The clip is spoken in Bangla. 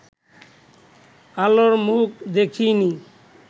আলোর মুখ দেখে নি